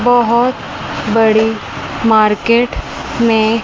बहोत बड़ी मार्केट में--